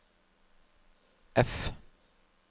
F